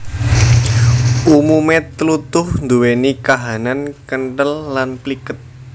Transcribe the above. Umume tlutuh nduweni kahanan kenthel lan pliket